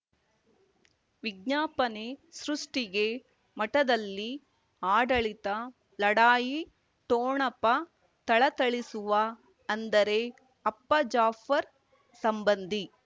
ವಿಜ್ಞಾಪನೆ ಸೃಷ್ಟಿಗೆ ಮಠದಲ್ಲಿ ಆಡಳಿತ ಲಢಾಯಿ ಠೋಣಪ ಥಳಥಳಿಸುವ ಅಂದರೆ ಅಪ್ಪ ಜಾಫರ್ ಸಂಬಂಧಿ